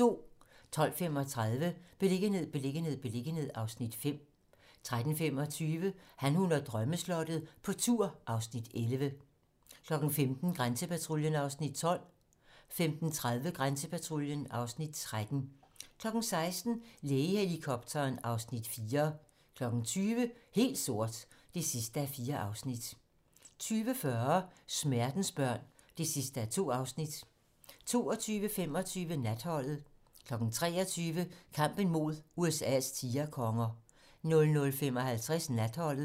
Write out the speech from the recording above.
12:35: Beliggenhed, beliggenhed, beliggenhed (Afs. 5) 13:25: Han, hun og drømmeslottet - på tur (Afs. 11) 15:00: Grænsepatruljen (Afs. 12) 15:30: Grænsepatruljen (Afs. 13) 16:00: Lægehelikopteren (Afs. 4) 20:00: Helt sort (4:4) 20:40: Smertensbørn (2:2) 22:25: Natholdet 23:00: Kampen mod USA's tigerkonger 00:55: Natholdet